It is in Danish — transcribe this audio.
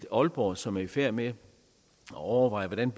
aalborg som er i færd med at overveje hvordan